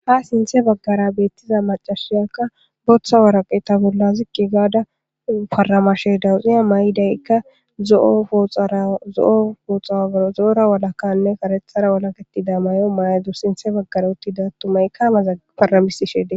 ha sinthe baggara beettiza macasiyakka boththa waraqeta bolla zikqi gaada paramashe dawuxiya may7idaykka zzo7oooxazo7ora walakanne karethara walaketida mayo maydu sinthe baggara otti daattumaykkama zafaramisi sheedee